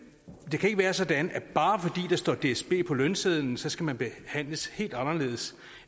det kan ikke være sådan at bare fordi der står dsb på lønsedlen skal man behandles helt anderledes